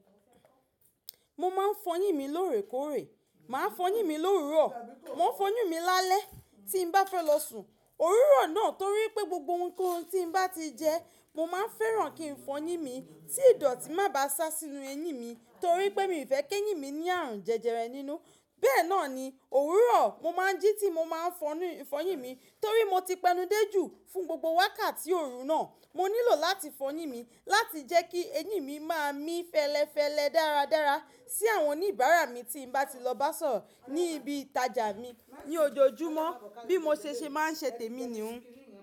Mo ma n fọyin mi lóòrèkóòrè, màá fọyin mi lówuro, ma fọyin mi lálẹ́ tí n bá fẹ́ lọ sùn. Òwuro náà torí pé gbogbo ohunkóhun tí n bá ti jẹ, mo máa n fẹ́ràn kí n fọyin mi tí ìdọ̀tí bá máa sá sínú eyín mi torí pé mi o fẹ́ kí eyín mi ní àrùn jẹjẹrẹ nínú. Bẹ́ẹ̀ náà ni òwúrọ̀ mo máa n jí ti mo ma n fọyin mi torí mo ti pẹnude jù fún gbogbo wákàtí òru náà. Mo nílò láti fọyin mi láti jẹ́ kí eyín mi máa mí fẹ́lẹ́fẹ́lẹ́ dáradára sí àwọn oníbàárà mi tí n bá ti lọ bá sọ̀rọ̀ ní ibi ìtajà mi ní ojoojúmọ́ bí mo ṣe má n ṣẹ́tè mi ni ó.